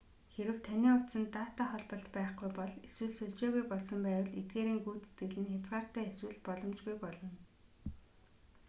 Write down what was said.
хэрэв таны утсанд дата холболт байхгүй бол эсвэл сүлжээгүй болсон байвал эдгээрийн гүйцэтгэл нь хязгаартай эсвэл боломжгүй болно